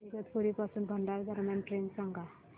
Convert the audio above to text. इगतपुरी पासून भंडारा दरम्यान ट्रेन सांगा